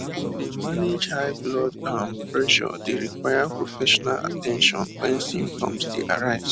to dey manage high blood um pressure dey require professional at ten tion wen symptoms dey arise